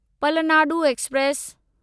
Palnadu express